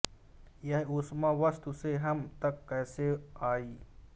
यह उष्मा वस्तु से हम तक कैसे आई